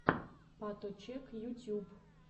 паточек ютьюб